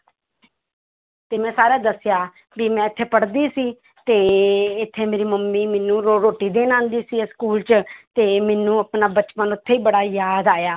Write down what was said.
ਤੇ ਮੈਂ ਸਾਰਾ ਦੱਸਿਆ ਵੀ ਮੈਂ ਇੱਥੇ ਪੜ੍ਹਦੀ ਸੀ ਤੇ ਇੱਥੇ ਮੇਰੀ ਮੰਮੀ ਮੈਨੂੰ ਰੋ~ ਰੋਟੀ ਦੇਣ ਆਉਂਦੀ ਸੀ ਇਹ school 'ਚ ਤੇ ਮੈਨੂੰ ਆਪਣਾ ਬਚਪਨ ਉੱਥੇ ਬੜਾ ਯਾਦ ਆਇਆ।